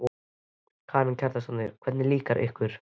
Karen Kjartansdóttir: Hvernig líkar ykkur?